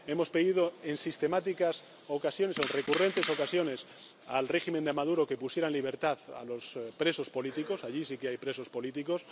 Hemos pedido en sistemáticas ocasiones, en recurrentes ocasiones, al régimen de Maduro que pusiera en libertad a los presos políticos —allí sí que hay presos políticos—.